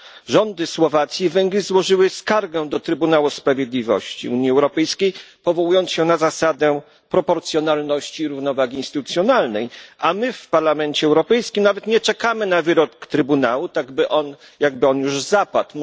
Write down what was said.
Rządy Słowacji i Węgier złożyły skargę do Trybunału Sprawiedliwości Unii Europejskiej, powołując się na zasadę proporcjonalności i równowagi instytucjonalnej, a my w Parlamencie Europejskim nawet nie czekamy na wyrok Trybunału, tak jakby on już zapadł.